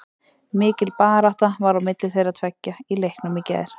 Mikil barátta var á milli þeirra tveggja í leiknum í gær.